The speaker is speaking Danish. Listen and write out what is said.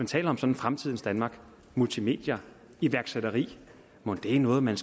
taler om fremtidens danmark multimedier iværksætteri mon det er noget man